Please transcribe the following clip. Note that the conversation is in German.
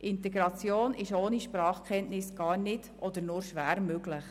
Integration ist ohne Sprachkenntnisse gar nicht oder nur schwer möglich.